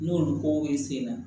N'olu ko e sen na